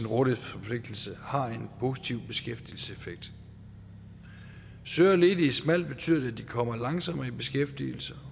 rådighedsforpligtelse har en positiv beskæftigelseseffekt søger ledige smalt betyder det at de kommer langsommere i beskæftigelse